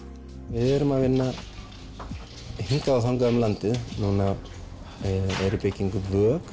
við erum að vinna hingað og þangað um landið núna er í byggingu vök